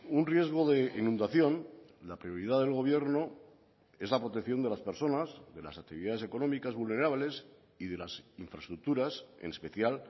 un riesgo de inundación la prioridad del gobierno es la protección de las personas de las actividades económicas vulnerables y de las infraestructuras en especial